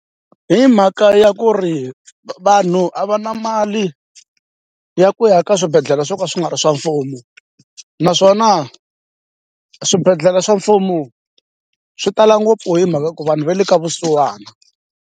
Hi mhaka ya ku ri vanhu a va na mali ya ku ya ka swibedhlele swo ka swi nga ri swa mfumo naswona swibedhlele swa mfumo swi tala ngopfu hi mhaka ku vanhu va le ka vusiwana.